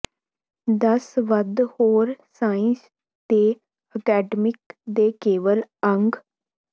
ਦਸ ਵੱਧ ਹੋਰ ਸਾਇੰਸਜ਼ ਦੇ ਅਕੈਡਮੀ ਦੇ ਕੇਵਲ ਅੰਗ